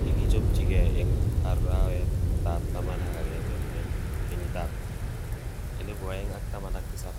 kikichopchike eng arawet tab taman agenge 2017.